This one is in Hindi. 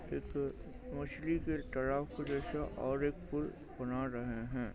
इधर मछली के जैसा और एक पूल बना रहे है।